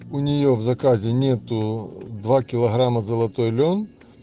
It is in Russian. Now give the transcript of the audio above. у нее в заказе нету два килограмма золотой лен